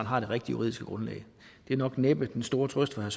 har det rigtig juridiske grundlag det er nok næppe den store trøst for